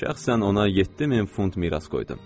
Şəxsən ona 7000 funt miras qoydu.